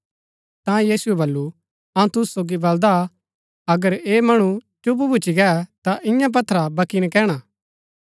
ता यीशुऐ वलु अऊँ तुसु सोगी बलदा अगर ऐह मणु चुप भूच्ची गै ता इन्या पत्थरा वक्की नकैणा